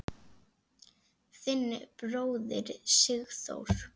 Þinn bróðir, Sigþór.